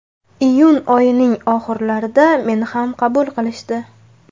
Iyun oyining oxirlarida meni ham qabul qilishdi.